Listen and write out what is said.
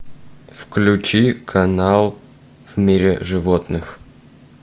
включи канал в мире животных